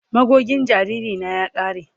Magogin jariri na ya kare.